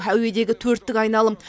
әуедегі төрттік айналым